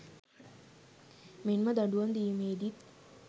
මෙන්ම දඩුවම් දී‍මේදිත්